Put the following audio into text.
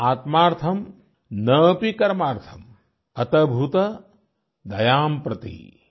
न आत्मार्थम् न अपि कामार्थम् अतभूत दयां प्रति